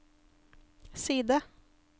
side